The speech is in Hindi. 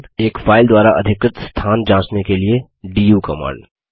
एक फाइल द्वारा अधिकृत स्थान जाँचने के लिए डू कमांड